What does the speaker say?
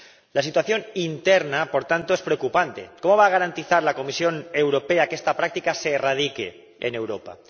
La situación interna, por tanto, es preocupante ¿cómo va a garantizar la Comisión Europea que esta práctica se erradique en Europa?